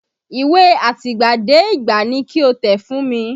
Ìwé àtìgbàdégbà ni ki o tẹ̀ fún mi!